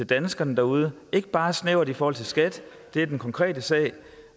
danskerne derude ikke bare snævert i forhold til skat det er den konkrete sag